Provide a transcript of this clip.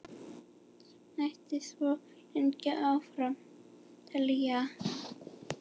Mætti svo lengi áfram telja.